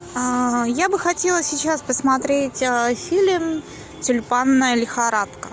я бы хотела сейчас посмотреть фильм тюльпанная лихорадка